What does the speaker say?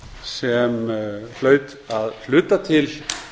sem hlaut að hluta til